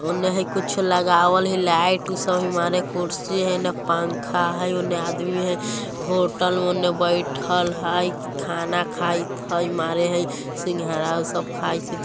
ओने हेय कुछो लगावल हेय लाइट हेय उ सब कुर्सी हेय इने पंखा हेय उने आदमी हेय होटल उनने बैठएल हेय की खाना खाईत हेय मारे हेय सिंघाड़ा उ सब खाईत हेय।